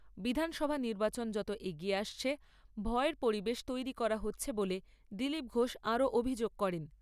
বিধানসভা নির্বাচন যত এগিয়ে আসছে ভয়ের পরিবেশ তৈরি করা হচ্ছে বলে দিলীপ ঘোষ আরও অভিযোগ করেন।